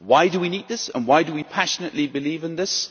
Why do we need this, and why do we passionately believe in this?